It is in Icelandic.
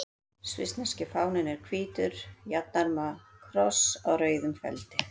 Svissneski fáninn er hvítur jafnarma kross á rauðum feldi.